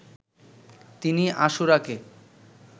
তিনি আশুরাকে